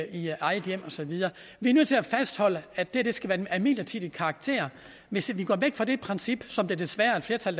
i eget hjem og så videre vi er nødt til at fastholde at det her skal være af midlertidig karakter hvis vi går væk fra det princip som der desværre er et flertal